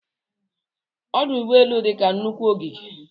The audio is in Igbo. Ọdụ ụgbọelụ dị ka nnukwu ogige